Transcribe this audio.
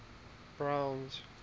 browns